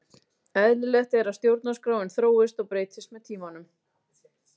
Eðlilegt er að stjórnarskráin þróist og breytist með tímanum.